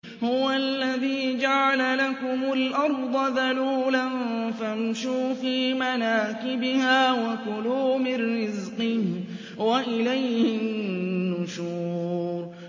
هُوَ الَّذِي جَعَلَ لَكُمُ الْأَرْضَ ذَلُولًا فَامْشُوا فِي مَنَاكِبِهَا وَكُلُوا مِن رِّزْقِهِ ۖ وَإِلَيْهِ النُّشُورُ